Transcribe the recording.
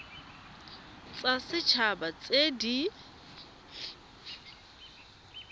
tsa set haba tse di